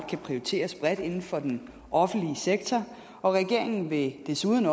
kan prioriteres bredt inden for den offentlige sektor og regeringen vil desuden